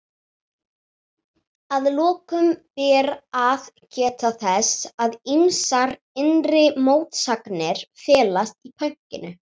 Að lokum ber að geta þess að ýmsar innri mótsagnir felast í pönkinu.